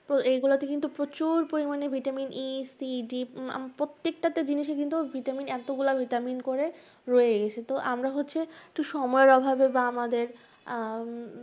তো এইগুলাতে কিন্তু প্রচুর পরিমাণে vitamin ECD প্রত্যেকটা জিনিসে কিন্তু vitamin এতগুলা vitamin করে রয়ে গেছে, তো আমরা হচ্ছে একটু সময়ের অভাবে বা আমাদের আহ